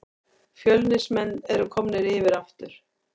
Fjölnismenn eru komnir yfir aftur